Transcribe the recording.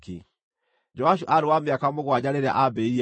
Joashu aarĩ wa mĩaka mũgwanja rĩrĩa aambĩrĩirie gwathana.